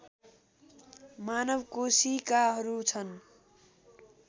मानव कोषिकाहरू छन्